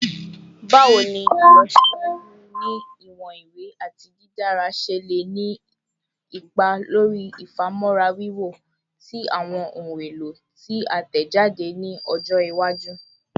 Bawo ni awọn ilọsiwaju ni iwọn iwe ati didara ṣe le ni ipa lori ifamọra wiwo ti awọn ohun elo ti a tẹjade ni ọjọ iwaju?